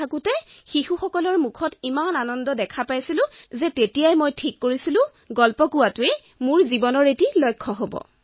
কিন্তু সাধু শুনোৱাৰ সময়ত তেওঁলোকৰ মুখত যি সুখৰ আভাস দেখা পাইছিলো মই আপোনাক কি কম ইমানেই সন্তোষ পাইছিলো যে সাধু কোৱাই মোৰ জীৱনৰ লক্ষ্য হিচাপে গঢ়ি তুলিছিলো